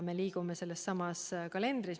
Me liigume sellesama kalendri järgi.